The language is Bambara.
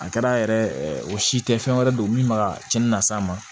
A kɛra yɛrɛ o si tɛ fɛn wɛrɛ don min bɛ ka cɛnni na s'a ma